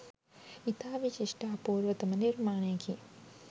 ඉතා විශිෂ්ට අපූර්වතම නිර්මාණයකි.